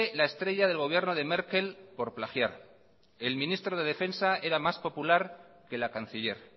la estrella del gobierno de merkel por plagiar el ministro de defensa era más popular que la canciller